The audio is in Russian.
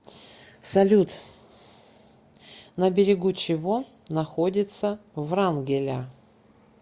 салют на берегу чего находится врангеля